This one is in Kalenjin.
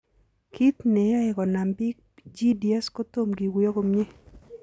Kit neoyoe konam pik GDS Kotom kiguyo komie.